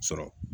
Sɔrɔ